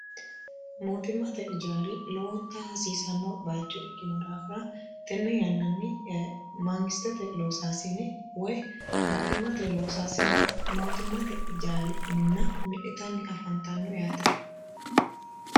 mootimmate jaari lowonta hasiisanno bayicho ikkino daafira tenne yannanni maangistete loosaasine woy mootimmate jaari minna mi'nitanni afantanno yaate